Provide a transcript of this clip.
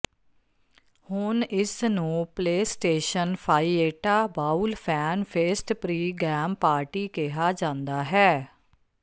ਹੁਣ ਇਸਨੂੰ PlayStation Fiesta Bowl fan fest pregame party ਕਿਹਾ ਜਾਂਦਾ ਹੈ